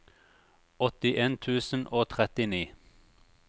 åttien tusen og trettini